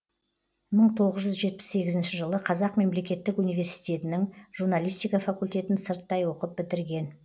мың тоғыз жүз жетпіс сегізінші жылы қазақ мемлекеттік университетінің журналистика факультетін сырттай оқып бітірген